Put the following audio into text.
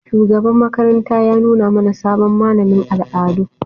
Shugaban makaranta ya nuna mana sabon malamin al'adu.